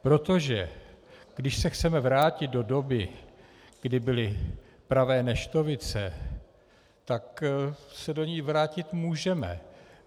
Protože když se chceme vrátit do doby, kdy byly pravé neštovice, tak se do ní vrátit můžeme.